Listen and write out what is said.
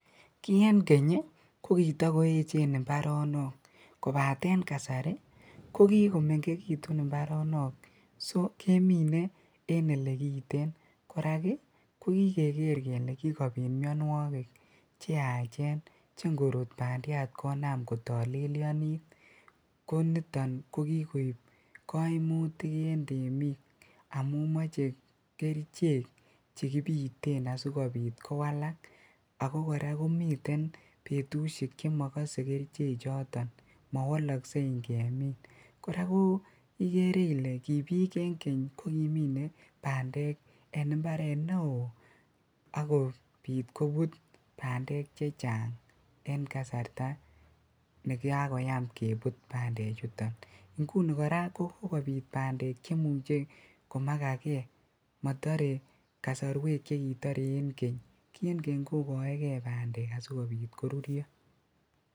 Kii en Keny kokitokoechen imbaronok kobateen kasari kokikomeng'ekitun imbaronok soo keminee en elekiten, korak ii ko kikeker kelee kibiit mionwokik cheachen cheng'orut bandiat konam kotolelionit koniton ko kikoib koimutik en temiik amuun moche kerichek chekibiten asikobit kowalak, akokora komiten betushek chemokose kerichechoton mowoloksei ing'emin, kora ko ikeree ilee kibiik en Keny kokimine bandek en imbaret neoo akobiit kobut bandek chechang en kasarta nekakoyam kebut bandechuton ing'uni kora kokikobiit bandek cheimuche komakakee motoree kasorwek chekitore en keny, kii en keny kokoekee bandek asikobiit koruryo.